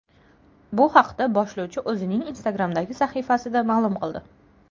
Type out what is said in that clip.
Bu haqda boshlovchi o‘zining Instagram’dagi sahifasida ma’lum qildi .